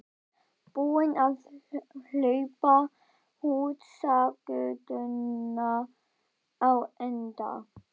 Búinn að hlaupa húsagötuna á enda í einum spreng.